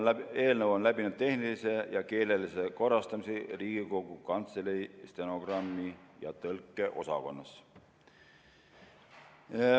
Eelnõu on läbinud tehnilise ja keelelise korrastamise Riigikogu Kantselei stenogrammi- ja tõlkeosakonnas.